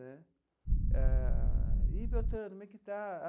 Né ah e beltrano, como é que está?